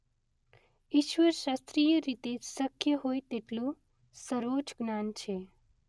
ઇશ્વર શાસ્ત્રીય રીતે શક્ય હોય તેટલું સર્વોચ્ચ જ્ઞાન છે.